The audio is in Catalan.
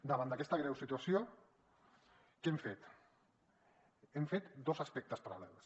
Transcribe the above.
davant d’aquesta greu situació què hem fet hem fet dos aspectes paral·lels